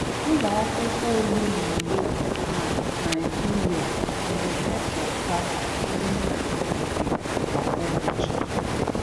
ụlọ akwụkwọ ole na ole na Naịjirịa na emeputa ndị PhD kwa ubochi?